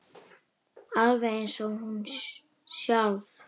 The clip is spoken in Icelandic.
Alveg eins og hún sjálf.